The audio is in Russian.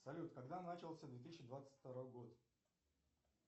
салют когда начался две тысячи двадцать второй год